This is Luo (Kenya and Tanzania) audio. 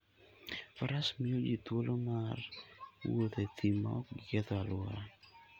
Faras miyo ji thuolo mar wuotho e thim ma ok giketh alwora.